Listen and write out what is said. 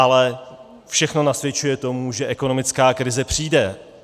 Ale všechno nasvědčuje tomu, že ekonomická krize přijde.